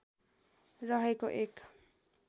रहेको एक